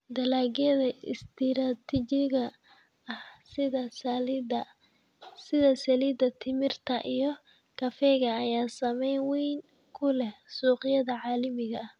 Dalagyada istiraatiijiga ah sida saliidda timirta iyo kafeega ayaa saameyn weyn ku leh suuqyada caalamiga ah.